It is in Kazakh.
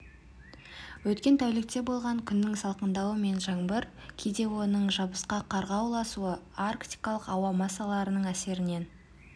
өткен тәулікте болған күннің салқындауы мен жаңбыр кейде оның жабысқақ қарға ұласуы арктикалық ауа массаларының әсерінен